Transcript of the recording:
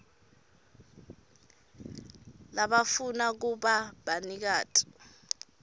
labafuna kuba banikati